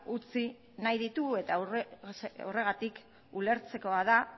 utzi nahi ditu eta horregatik ulertzekoa da